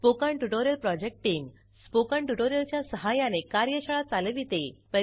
spoken tutorial project team spoken tutorial च्या सहाय्याने कार्यशाळा चालविते